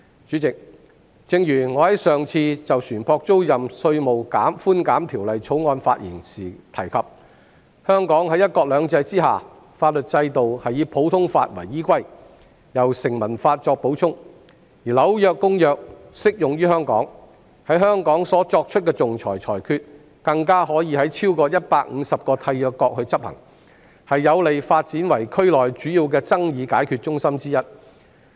主席，我上次就《2020年稅務條例草案》發言時提到，在"一國兩制"下，香港的法律制度以普通法為依歸，由成文法作補充，《紐約公約》亦適用於香港，在香港所作出的仲裁裁決，可在超過150個締約國執行，有利香港發展為區內主要爭議解決中心之一。